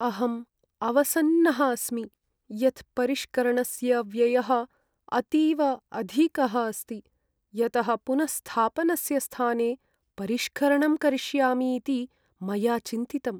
अहम् अवसन्नः अस्मि यत् परिष्करणस्य व्ययः अतीव अधिकः अस्ति, यतः पुनःस्थापनस्य स्थाने परिष्करणं करिष्यामीति मया चिन्तितम्।